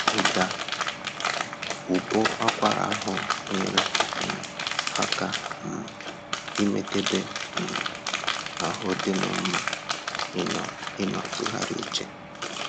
Ụda ụbọakwara ahụ nyere um aka um ime k'ebe um ahụ dịnnọ mma ịnọ ịnọ tụgharịa uche